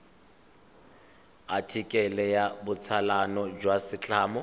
athikele ya botsalano jwa setlamo